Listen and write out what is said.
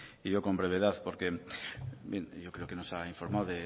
y yo con brevedad porque yo creo que nos ha informado